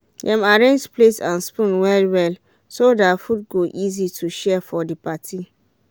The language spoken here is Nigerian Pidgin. dem arrange plates and spoons well-well so that food go easy to share for the party.